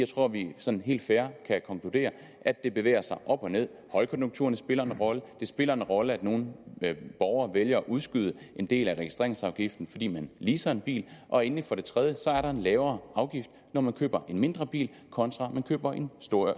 tror at vi sådan helt fair kan konkludere at det bevæger sig op og nederst højkonjunkturerne spiller en rolle det spiller en rolle at nogle borgere vælger at udskyde en del af registreringsafgiften fordi man leaser en bil og endelig er der en lavere afgift når man køber en mindre bil kontra man køber en